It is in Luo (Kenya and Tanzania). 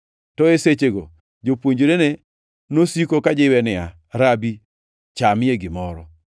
To e sechego jopuonjrene nosiko kajiwe niya, “Rabi, chamie gimoro.”